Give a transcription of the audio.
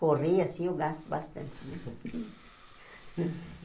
Correr assim, eu gasto bastante.